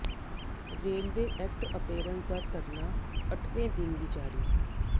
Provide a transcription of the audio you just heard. railway act apprentice ਦਾ ਧਰਨਾ ਅੱਠਵੇਂ ਦਿਨ ਵੀ ਜਾਰੀ